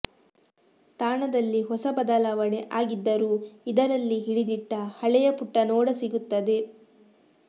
ತಾಣದಲ್ಲಿ ಹೊಸ ಬದಲಾವಣೆ ಆಗಿದ್ದರೂ ಇದರಲ್ಲಿ ಹಿಡಿದಿಟ್ಟ ಹಳೆಯ ಪುಟನೋಡ ಸಿಗುತ್ತದೆ